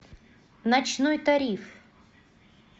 ночной тариф